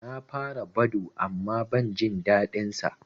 Na fara Badoo amma ban jin daɗin sa